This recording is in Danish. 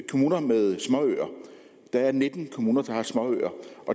kommuner med småøer der er nitten kommuner der har småøer